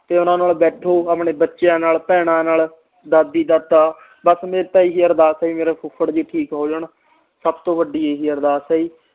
ਤੇ ਓਹਨਾ ਨਾਲ ਬੈਠੋ ਆਪਣੇ ਬੱਚਿਆਂ ਨਾਲ ਭੈਣਾਂ ਨਾਲ ਦਾਦੀ ਦਾਦਾ ਬਸ ਮੇਰੀ ਤਾ ਹੀ ਅਰਦਾਸ ਆ ਜੀ ਮੇਰੇ ਫੁੱਫੜ ਜੀ ਠੀਕ ਹੋ ਜਾਨ ਸਬ ਤੋਂ ਵੱਡੀ ਇਹੀ ਅਰਦਾਸ ਆ ਜੀ